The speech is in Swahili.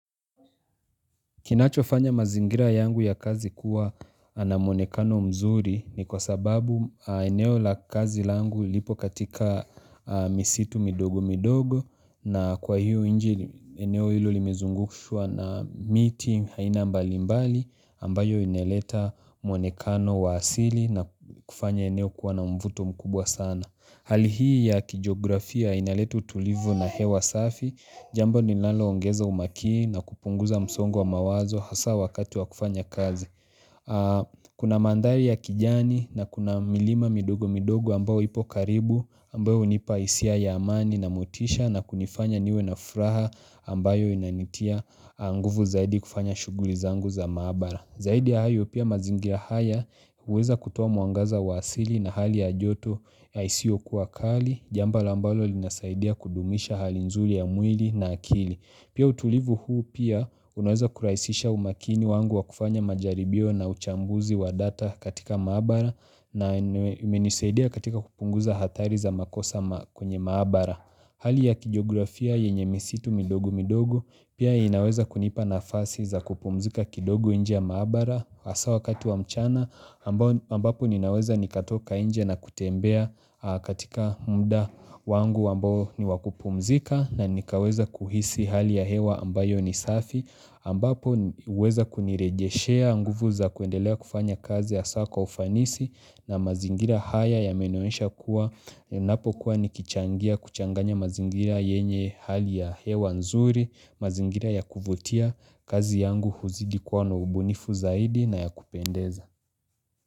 Kinachofanya mazingira yangu ya kazi kuwa na mwonekano mzuri ni kwa sababu eneo la kazi langu lipokatika misitu midogo midogo na kwa hiyo inji eneo hilo limizungushwa na miti aina mbalimbali ambayo ineleta mwonekano wa asili na kufanya eneo kuwa na mvuto mkubwa sana. Hali hii ya kijografia inaleta utulivu na hewa safi, jambo linalo ongeza umakini na kupunguza msongo wa mawazo hasa wakati wa kufanya kazi. Kuna mandhari ya kijani na kuna milima midogo midogo ambayo ipo karibu ambayo hunipa hisia ya amani na motisha na kunifanya niwe na furaha ambayo inanitia nguvu zaidi kufanya shughuli zangu za mahabara. Zaidi ya hayo pia mazingira haya huweza kutoa mwangaza wa asili na hali ya joto ya isio kuakali Jambo ambalo linasaidia kudumisha hali nzuri ya mwili na akili Pia utulivu huu pia unaweza kurahisisha umakini wangu wa kufanya majaribio na uchambuzi wa data katika maabara na umenisaidia katika kupunguza hathari za makosa kwenye maabara Hali ya kijografia yenye misitu midogo midogo pia inaweza kunipa nafasi za kupumzika kidogo nje ya maabara hasa wakati wa mchana ambapo ninaweza nikatoka nje na kutembea katika mda wangu ambao ni wakupumzika na nikaweza kuhisi hali ya hewa ambayo ni safi ambapo huweza kunirejeshea nguvu za kuendelea kufanya kazi hasa kwa ufanisi na mazingira haya ya meninyesha kuwa ninapo kuwa ni kichangia kuchanganya mazingira yenye hali ya hewa nzuri, mazingira ya kuvutia kazi yangu huzidi kwa na ubunifu zaidi na ya kupendeza.